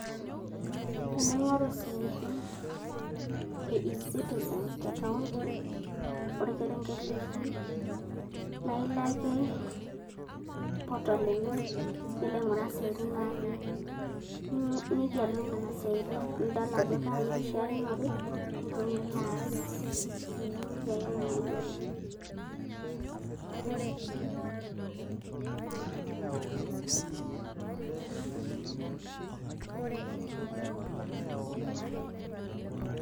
Tening`oru siaitin e e-citizn te kaunti tolkerenke litii naa ilo ake portal enye nilo aing`oru siaitin natii ni nigelu nena siaitin, nidol ajo kaa nikishiakinore nitum nilo aas, ee nejia ake nanu ayiolo.